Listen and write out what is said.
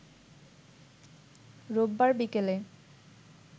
রোববার বিকেলে